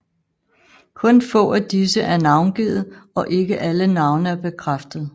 Kun få af disse er navngivet og ikke alle navne er bekræftet